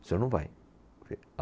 O senhor não vai.